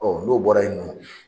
n'o bɔra ye nɔ